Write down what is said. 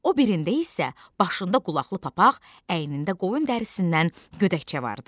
O birində isə başında qulaqlı papaq, əynində qoyun dərisindən gödəkçə vardı.